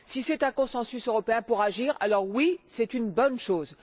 Si c'est un consensus européen pour agir, alors oui, c'est une bonne chose.